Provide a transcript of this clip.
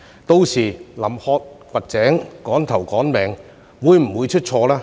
屆時臨渴掘井，"趕頭趕命"，會否出錯呢？